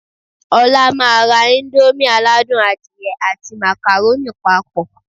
Ọlá máa ra íńdómì aládùn adìyẹ àti màkàrónì papọ̀